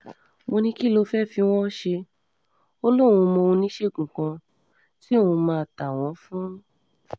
mo ní kí um ló fẹ́ẹ́ fi wọ́n ṣe ọ́ lòún mọ oníṣègùn kan tí òun um máa ta wọ́n fún